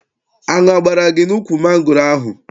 Aṅụ agbara gị n'ukwu mangoro ahụ?